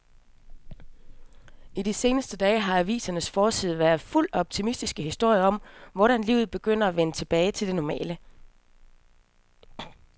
I de seneste dage har avisernes forsider været fulde af optimistiske historier om, hvordan livet begynder at vende tilbage til det normale.